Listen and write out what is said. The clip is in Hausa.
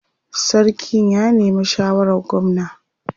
Sarkin ya nemi shawarar gwamna.